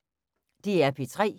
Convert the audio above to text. DR P3